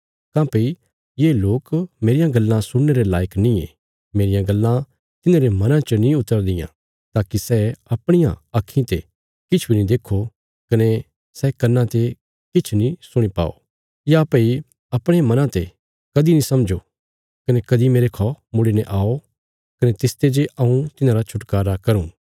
काँह्भई ये लोक मेरियां गल्लां सुणने रे लायक नींये मेरियां गल्लां तिन्हांरे मनां च नीं उतरदियां ताकि सै अपणियां आक्खीं ते किछ बी नीं देक्खो कने सै कन्नां ते किछ नीं सुणी पाओ या भई अपणे मना ते कदीं नीं समझो कने कदीं मेरेखौ मुड़ीने आओ कने तिसते जे हऊँ तिन्हांरा छुटकारा करूँ